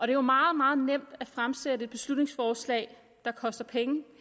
er jo meget meget nemt at fremsætte beslutningsforslag der koster penge